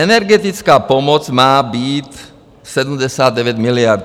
Energetická pomoc má být 79 miliard.